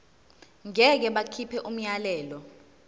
ngeke bakhipha umyalelo